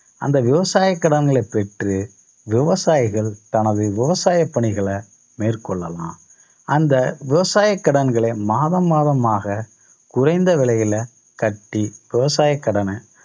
அந்த விவசாய கடன்களை பெற்று விவசாயிகள் தனது விவசாய பணிகளை மேற்கொள்ளலாம். அந்த விவசாய கடன்களை மாதம் மாதமாக குறைந்த விலையில கட்டி விவசாய கடன